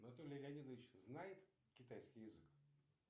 анатолий леонидович знает китайский язык